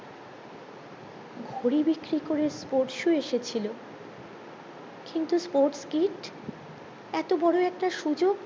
ঘরে বিক্রি করে sports shoe এসেছিলো কিন্তু sports kit এতো বড়ো একটা সুযোগ